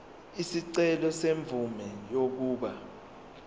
isicelo semvume yokuba